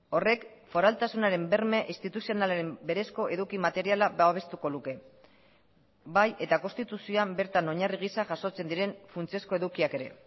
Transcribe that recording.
horrek foraltasunaren berme instituzionalaren berezko eduki materiala babestuko luke bai eta konstituzioan bertan oinarri gisa jasotzen diren funtsezko edukiak ere